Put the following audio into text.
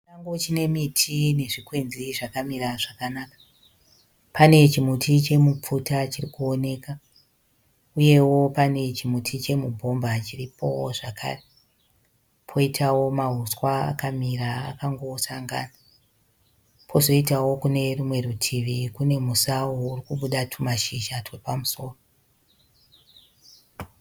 Chisango chine miti nezvikwenzi zvakamira zvakanaka. Pane chimuti chemupfuta chirikuoneka. Uyewo pane chimuti chemubhomba chiripowo zvakare. Poitawo mahuswa akamira akangosangana. Pozoitawo Kune rumwe rutivi , kune musau urikubuda mashizha epamusoro.